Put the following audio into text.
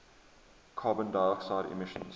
carbon dioxide emissions